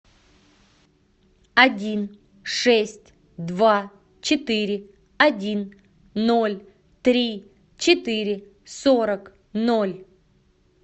один шесть два четыре один ноль три четыре сорок ноль